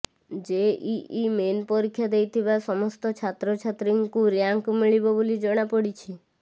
JEE main ପରୀକ୍ଷା ଦେଇଥିବା ସମସ୍ତ ଛାତ୍ରଛାତ୍ରୀଙ୍କୁ ର୍ୟାଙ୍କ ମିଳିବ ବୋଲି ଜଣାପଡ଼ିଛି